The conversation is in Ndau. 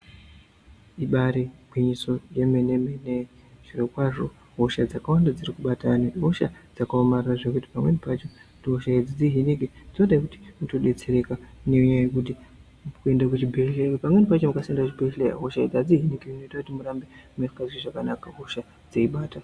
Ibaari gwinyiso yemene-mene zvirokwazvo hosha dzakawanda dzirikubata vantu ihosha dzakaomarara zvekuti pamweni pacho kuti hosha idzi dzihinike dzooda kuti utodetsereka nenyaya yekuti kuenda kuchibhedhleya nekuti ukasaenda kuchibhedhleya hosha idzi hadzihiniki zvinoita kuti murambe musikazwi zvakanaka hosha dzeibata.